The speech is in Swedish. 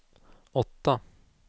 åtta